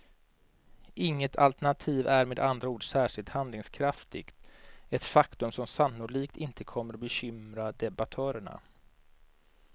Inget alternativ är med andra ord särskilt handlingskraftigt, ett faktum som sannolikt inte kommer bekymra debattörerna.